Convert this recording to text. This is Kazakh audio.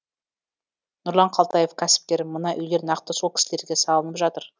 нұрлан қалтаев кәсіпкер мына үйлер нақты сол кісілерге салынып жатыр